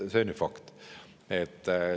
See on ju fakt.